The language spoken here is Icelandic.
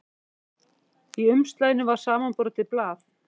Í umslaginu var samanbrotið blað.